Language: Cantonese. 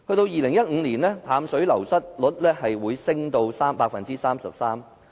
2015年，淡水流失率上升至 33%。